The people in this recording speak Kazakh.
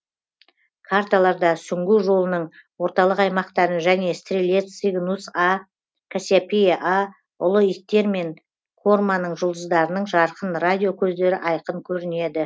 карталарда сүңгу жолының орталық аймақтарын және стрелец цигнус а кассиопсия а ұлы иттер мен корманың жұлдыздарының жарқын радио көздері айқын көрінеді